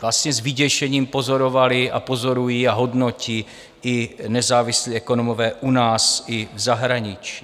vlastně s vyděšením pozorovali a pozorují a hodnotí i nezávislí ekonomové u nás i v zahraničí.